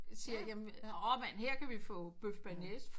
Siger her kan vi få bøf bearnaise for